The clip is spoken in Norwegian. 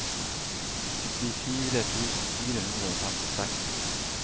syttifire tusen fire hundre og femtiseks